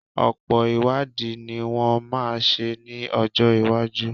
Ọ̀pọ̀ ìwádìí ní wọ́n máa ṣe ní ọjọ́ iwájú.